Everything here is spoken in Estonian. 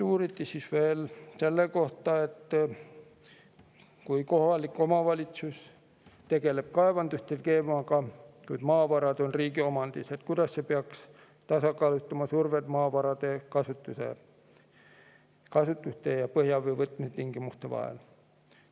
Uuriti veel selle kohta, et kui kohalik omavalitsus tegeleb kaevanduste teemaga, kuid maavarad on riigi omandis, siis kuidas peaks see tasakaalustama survet maavarade kasutuse ja põhjavee võtmise tingimuste vahel.